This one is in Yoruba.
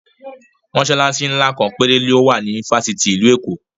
Mọsalasi ńlá kan péré ló wà ní fásitì ìlú Èkó